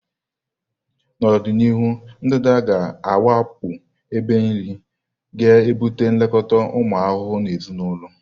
N'ọdịnihu, ndanda ga-awakpo ebe nri, ga ebute nlekọta ụmụ ahụhụ na ezinụlọ.